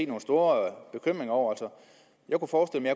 nogle store bekymringer over jeg kunne forstille